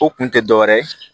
O kun tɛ dɔ wɛrɛ ye